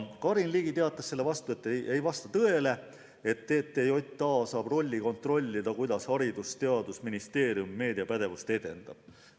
Karin Ligi teatas selle peale, et ei vasta tõele, et TTJA saab rolli kontrollida, kuidas Haridus- ja Teadusministeerium meediapädevust edendab.